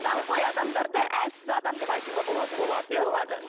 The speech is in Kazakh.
даңғой адамдарды әлсіз адам деп айтуға болады болады иә болады